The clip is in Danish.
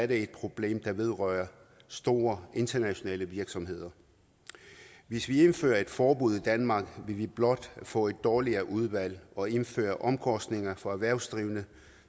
det et problem der vedrører store internationale virksomheder hvis vi indfører et forbud i danmark vil vi blot få et dårligere udvalg og indføre omkostninger for erhvervsdrivende